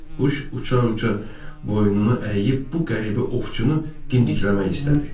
Quş uça-uça boynunu əyib bu qəribə ovçunu dimdikləmək istədi.